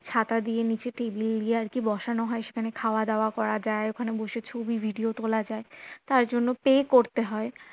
ছাতা দিয়ে নিচে table দিয়ে আরকি বসানো হয় সেখানে খাওয়া দাওয়া করা যায় ওখানে বসে ছবি video তোলা যায় তার জন্য pay করতে হয়